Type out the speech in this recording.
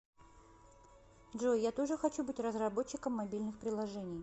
джой я тоже хочу быть разработчиком мобильных приложений